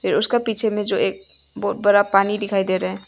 उसका पीछे में जो एक बहोत बड़ा पानी दिखाई दे रहा है।